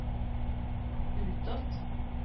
utåt